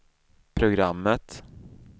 programmet